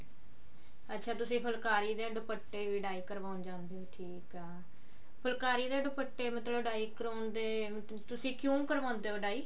ਅੱਛਾ ਤੁਸੀਂ ਫੁਲਕਾਰੀ ਤੇ ਦੁਪੱਟੇ ਵੀ dye ਕਰਵਾਉਣ ਜਾਂਦੇ ਹੋ ਠੀਕ ਹੈ ਫੁਲਕਾਰੀ ਤੇ ਦੁਪੱਟੇ ਮਤਲਬ dye ਕਰਵਾਉਣ ਦੇ ਤੁਸੀਂ ਕਿਉਂ ਕਰਵਾਉਂਦੇ ਹੋ dye